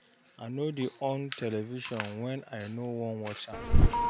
I no dey on television wen I no wan watch am.